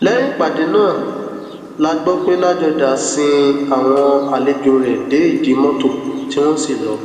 lẹyìn ìpàdé náà la gbọ pé ládọjà sin àwọn àlejò rẹ dé ìdí mọtò tí wọn sì lọ